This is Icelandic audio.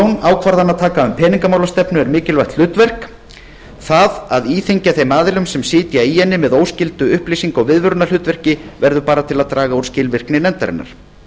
ákvarðanataka um peningamálastefnu er mikilvægt hlutverk segir jón það að íþyngja þeim aðilum sem sitja í henni með óskyldu upplýsinga og viðvörunarhlutverki verður bara til að draga úr skilvirkni nefndarinnar